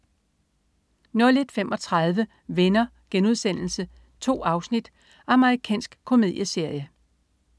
01.35 Venner.* 2 afsnit. Amerikansk komedieserie